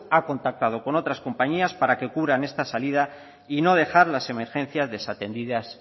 ha contactado con otras compañías para que cubran esta salida y no dejar las emergencias desatendidas